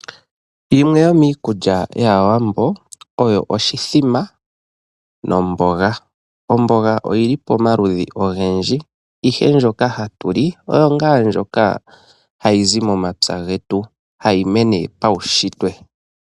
Yimwe yomikulya yaawambo oyo oshithima nomboga. Omboga oyili pomaludhi ogendji ihe ndjoka hatu li oyo ndjoka hayi zi momapya getu hayi mene pawushitwe.